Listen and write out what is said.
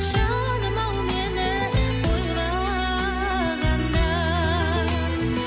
жаным ау мені ойлағанда